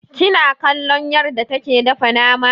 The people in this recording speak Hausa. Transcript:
Kina kallon yarda take dafa nama?